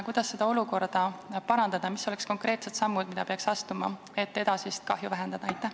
Kuidas seda olukorda parandada, mis oleks konkreetsed sammud, mida peaks astuma, et edasist kahju vähendada?